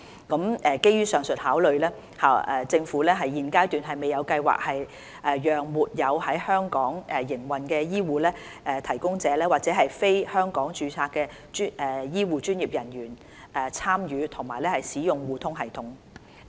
基於上述考量，政府現階段未有計劃讓沒有在香港營運的醫護提供者或者非香港註冊的醫護專業人員參與及使用互通系統。